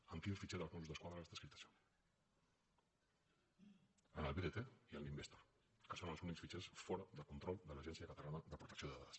en quins fitxers dels mossos d’esquadra està escrit això en el bdt i en l’investor que són els únics fitxers fora de control de l’agència catalana de protecció de dades